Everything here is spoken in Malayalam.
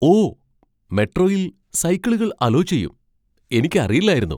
ഓ! മെട്രോയിൽ സൈക്കിളുകൾ അലാേ ചെയ്യും. എനിക്ക് അറിയില്ലായിരുന്നു .